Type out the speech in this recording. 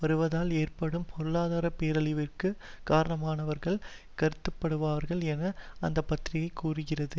வருவதால் ஏற்படும் பொருளாதார பேரழிவிற்கும் காரணமானவர்களாக கருதப்படுவார்கள் என்று அந்த பத்திரிகை கூறுகிறது